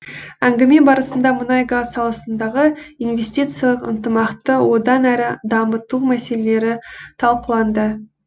әңгіме барысында мұнай газ саласындағы инвестициялық ынтымақты одан әрі дамыту мәселелері талқыланды